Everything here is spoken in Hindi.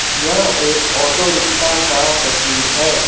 यह एक ऑटो रिक्शा का तस्वीर है।